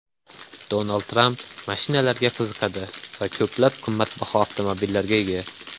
Donald Tramp mashinalarga qiziqadi va ko‘plab qimmatbaho avtomobillarga ega.